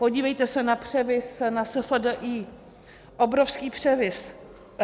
Podívejte se na převis na SFDI, obrovský převis.